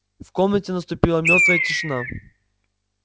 в комнате наступила мёртвая тишина